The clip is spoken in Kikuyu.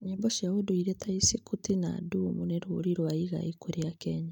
Nyĩmbo cia ũndũire ta "Isikuti" na "Adumu" nĩ rũrĩ rwa igai kũrĩ AKenya.